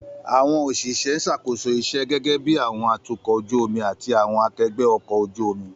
Àwọn òṣìṣẹ́ ń ṣàkóso iṣẹ́, gẹ́gẹ́ bí àwọn atukọ̀ ojú omi àti àwọn akẹgbẹ́ ọkọ̀ ojú omi.